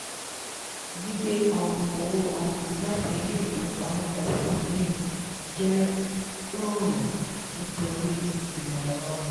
gbigbe um owó um láti ilé ìfowópamọ́ kan sí omíìn jẹ́ rọrùn nítorí imọ́ ẹ̀rọ.